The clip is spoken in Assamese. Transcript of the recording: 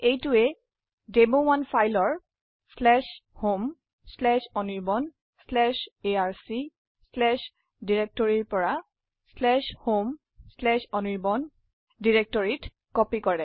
এইটোৱে demo1ফাইলৰ homeanirbanarc ডিৰেক্টৰিৰ পৰা homeanirban ডিৰেক্টৰিত কপি কৰে